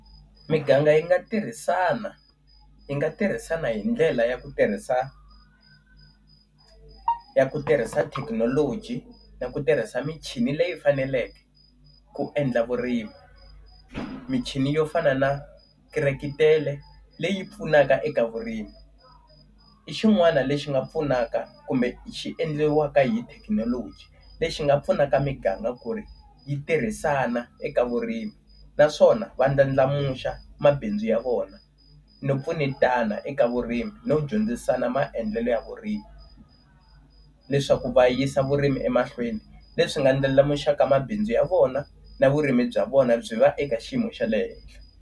Miganga yi nga tirhisana yi nga tirhisana hi ndlela ya ku tirhisa ya ku tirhisa thekinoloji na ku tirhisa michini leyi faneleke ku endla vurimi. Michini yo fana na krirekitele leyi pfunaka eka vurimi. I xin'wana lexi nga pfunaka kumbe xi endleriwaka hi thekinoloji lexi nga pfunaka miganga ku ri yi tirhisana eka vurimi naswona va ndlandlamuxa mabindzu ya vona no pfunetana eka vurimi no dyondzisaka na maendlelo ya vurimi. Leswaku va yisa vurimi emahlweni. Leswi nga ndlela ndlandlamuxaka mabindzu ya vona na vurimi bya vona byi va eka xiyimo xa le henhla.